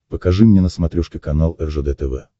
покажи мне на смотрешке канал ржд тв